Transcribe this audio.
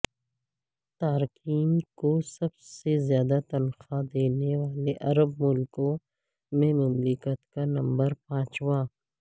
تارکین کو سب سے زیادہ تنخواہ دینے والے عرب ملکوں میں مملکت کا نمبر پانچواں